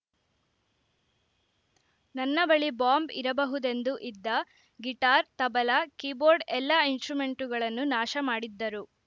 ನನ್ನ ಬಳಿ ಬಾಂಬ್‌ ಇರಬಹುದೆಂದು ಇದ್ದ ಗಿಟಾರ್‌ ತಬಲ ಕೀಬೋರ್ಡ್‌ ಎಲ್ಲ ಇನ್ಸಟ್ರುಮೆಂಟ್‌ಗಳನ್ನು ನಾಶ ಮಾಡಿದ್ದರು